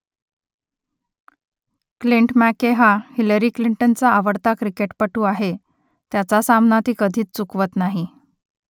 Clint McKay हा Hillary क्लिंटनचा आवडता क्रिकेटपटू आहे त्याचा सामना ती कधीच चुकवत नाही